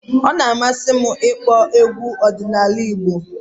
Ọ na-amasị m ịkpọ egwu ọdịnala Igbo